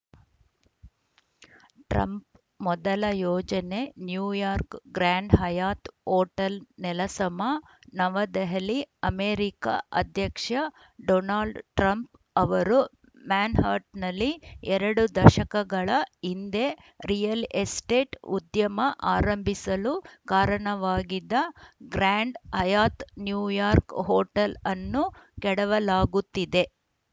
Trump ಮೊದಲ ಯೋಜನೆ New York Grand Hyatt hotel ನೆಲಸಮ ನವದೆಹಲಿ ಅಮೆರಿಕ ಅಧ್ಯಕ್ಷ ಡೊನಾಲ್ಡ್‌ ಟ್ರಂಪ್‌ ಅವರು ಮ್ಯಾನ್‌ಹಟನ್‌ನಲ್ಲಿ ಎರಡು ದಶಕಗಳ ಹಿಂದೆ ರಿಯಲ್‌ ಎಸ್ಟೇಟ್‌ ಉದ್ಯಮ ಆರಂಭಿಸಲು ಕಾರಣವಾಗಿದ್ದ ಗ್ರ್ಯಾಂಡ್‌ ಹಯಾತ್‌ ನ್ಯೂಯಾರ್ಕ್ ಹೋಟೆಲ್‌ ಅನ್ನು ಕೆಡವಲಾಗುತ್ತಿದೆ